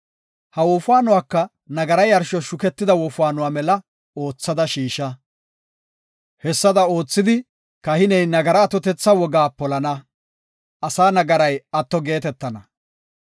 Ha wofaanuwaka nagara yarshos shuketida wofaanuwa mela oothada shiisha. Hessada oothidi, kahiney nagara atotetha wogaa polana; asaa nagaray atto geetetana.